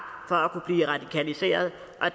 for at kunne blive radikaliseret